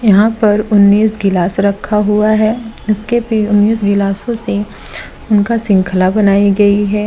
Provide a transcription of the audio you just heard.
यहां पर उन्नीस गिलास रखा हुआ है इसके पे उन्नीस गिलासो से उनका श्रृंखला बनाई गई है।